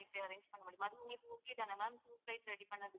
arrange பண்ண முடியும் அது உங்களுக்கு okay தானே ma'am two flights ready பண்ணுறதுக்கு